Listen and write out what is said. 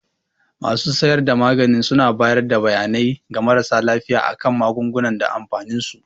Masu siyar da magani suna bayar da bayanai ga marasa lafiya a kan magunguna da amfanin su.